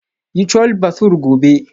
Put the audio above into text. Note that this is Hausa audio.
Yi Chole Bhature gobe.